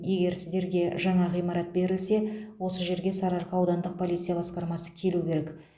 егер сіздерге жаңа ғимарат берілсе осы жерге сарыарқа аудандық полиция басқармасы келу керек